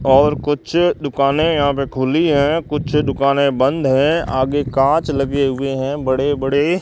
और कुछ दुकानें यहां पे खुली हैं कुछ दुकानें बंद हैं आगे कांच लगे हुए हैं बड़े बड़े।